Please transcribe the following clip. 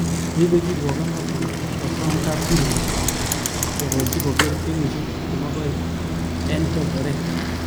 Neibe kirwoget noton kokikosom kapkirwok kokochi koker kenyishek 22 eng korkoret.